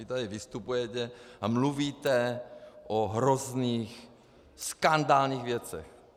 Vy tady vystupujete a mluvíte o hrozných, skandálních věcech.